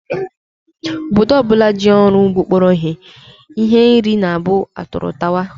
Obodo ọ bụla ji ọrụ ugbo kpọrọ ihe, nri na-abụ atụrụ tawa